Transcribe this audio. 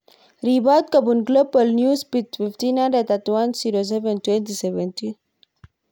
Ripot kopun Global Newsbeat 1500 31/07/2017